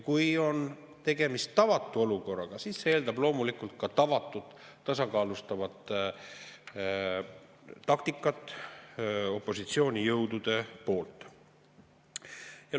Kui on tegemist tavatu olukorraga, siis see eeldab loomulikult ka tavatut tasakaalustavat taktikat opositsioonijõudude poolt.